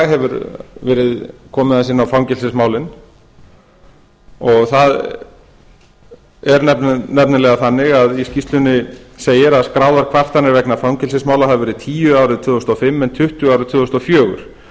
hefur verið komið aðeins inn á fangelsismálin það er nefnilega þannig að í skýrslunni segir að skráðar kvartanir vegna fangelsismála hafi verið tíu árið tvö þúsund og fimm en tuttugu árið tvö þúsund og fjögur